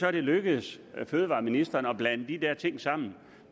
er det lykkedes fødevareministeren at blande de der ting sammen